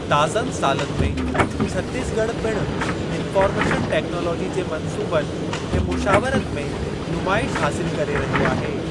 ताज़नि सालनि में, छत्तीसगढ़ पिणु इन्फ़ार्मेशन टेक्नालाजी जे मंसूबनि ऐं मुशावरत में नुमाइश हासिलु करे रहियो आहे।